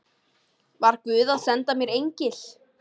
Var guð að senda mér engil?